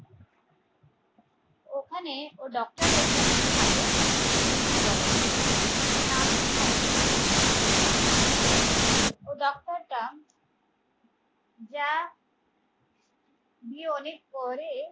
ওখানে ও doctor একটা মেয়ে থাকে স্মৃতি বলে ওর নাম থাকে স্মৃতি ও ডাক্তারটা যা দিয়ে অনেক পরে